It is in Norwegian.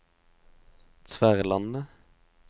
Tverlandet